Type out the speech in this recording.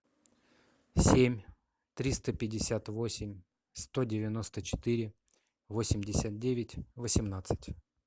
семь триста пятьдесят восемь сто девяносто четыре восемьдесят девять восемнадцать